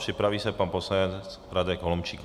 Připraví se pan poslanec Radek Holomčík.